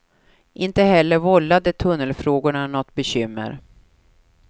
Inte heller vållade tunnelfrågorna något bekymmer.